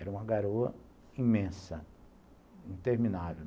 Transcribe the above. Era uma garoa imensa, interminável.